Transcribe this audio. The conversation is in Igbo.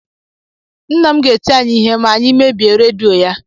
Nna m ga-eti anyị ihe ma anyị mebie redio ya